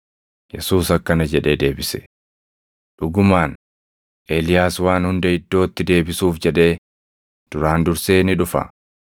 Yesuus akkana jedhee deebise; “Dhugumaan, Eeliyaas waan hunda iddootti deebisuuf jedhee duraan dursee ni dhufa.